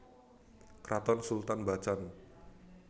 Kraton Sultan Bacan